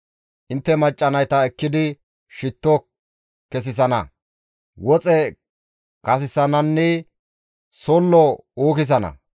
Intte macca nayta ekkidi shitto kessisana; woxe kathisananne sollo uukisana.